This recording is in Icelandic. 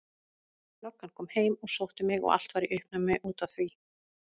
Löggan kom heim og sótti mig og allt var í uppnámi út af því.